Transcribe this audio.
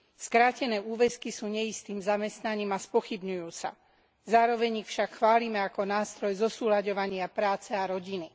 Skrátené úväzky sú neistým zamestnaním a spochybňujú sa. Zároveň ich však chválime, ako nástroj zosúlaďovania práce a rodiny.